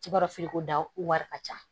Ci b'a dɔn feere ko dan wari ka ca